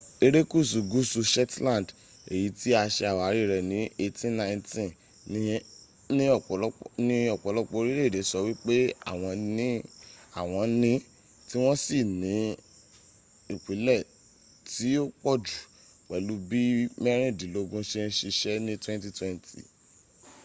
erekuṣu guusu shetland eyi ti a ṣe awari rẹ ni 1819 ni ọpọlọpọ orilẹ ede sọ wipe awọn ni awọn ni ti wọn si ni ipile ti o pọ ju pẹlu bi mẹrindinlogun ṣe n ṣiṣẹ ni 2020